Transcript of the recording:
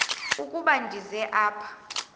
ukuba ndize apha